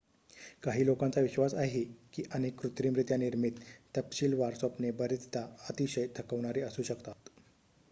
काही लोकांचा विश्वास आहे की अनेक कृत्रिमरित्या निर्मित तपशिलवार स्वप्ने बरेचदा अतिशय थकवणारी असू शकतात